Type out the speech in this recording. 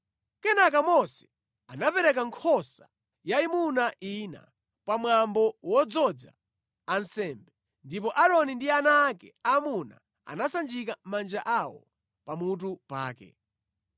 Kenaka Mose anapereka nkhosa yayimuna ina pamwambo wodzoza ansembe, ndipo Aaroni ndi ana ake aamuna anasanjika manja awo pamutu pake.